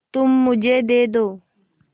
तुम मुझे दे दो